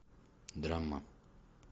драма